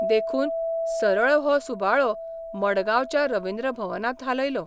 देखून सरळ हो सुबाळो मङगांवच्या रविन्द्र भवनांत हालयलो.